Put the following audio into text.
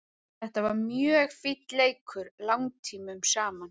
Þetta var mjög finn leikur langtímum saman.